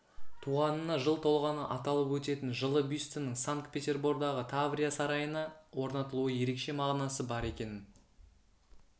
туғанына жыл толғаны аталып өтетін жылы бюстінің санкт-петербордағы таврия сарайына орнатылуы ерекше мағынасы бар екенін